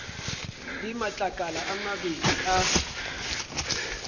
le matlakala a mabedi a